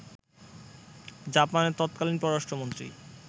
জাপানের তৎকালীন পররাষ্ট্রমন্ত্রী